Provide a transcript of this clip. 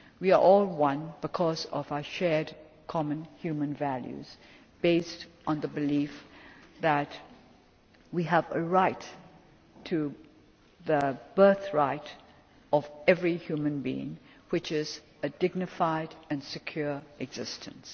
We are all one because of our shared, common human values, based on the belief that we have the right to the birthright of every human being, which is a dignified and secure existence.